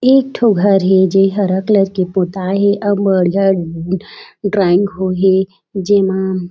ये एक ठो घर हे जो ये हरा कलर के पोताये हे और बढ़िया ड्राइंग हो ए हे जेमा--